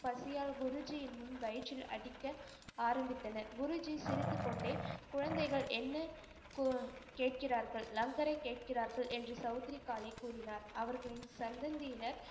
பசியால் குருஜியின் முன் வயிற்றில் அடிக்க ஆரம்பித்தனர் குருஜி சிரித்துக்கொண்டே குழந்தைகள் என்ன கேட்கிறார்கள் லங்கரை கேட்கிறார்கள் என்று சவுத்ரிகாலே கூறினார். அவர்களின் சந்தந்தியினர்